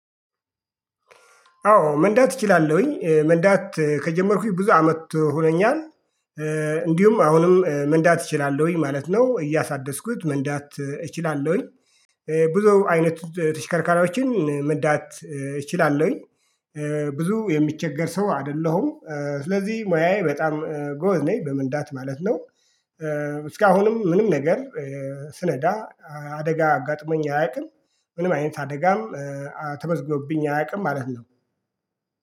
አዎ መንዳት እችላለሁኝ መንዳት ከጀመርኩኝ ብዙ አመት ሆኖኛል። እንዲሁም አሁንም መንዳት እችላለሁኝ ማለት ነው። እያሳደስኩት መንዳት እችላለሁኝ። ብዙ አይነቱ ተሽከርካሪዎችን መዳት እችላለሁኝ። ብዙ የሚቸገር ሰው አይደለሁም ስለዚህ ሙያዬ በጣም ገበዝ ነኝ በመንዳት ማለት ነው። እስካሁንም ምንም ነገር ስነዳ አደጋ አጋጥመኝ አያውቅም። ምንም አይነት አደጋም ተመዝግቦኝ አያውቅም ማለት ነው